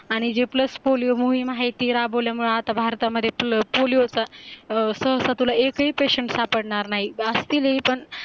आणि जे plus polio मोहीम आहे ती राबवल्यामुळे आता भारतामध्ये पोलिओ चा सवसा तुला एकही पेशंट सापडणार नाही असतील ही पण